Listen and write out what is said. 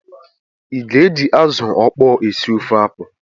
Ị ga-eji azụ ọkpọọ a sie ofe akwụ?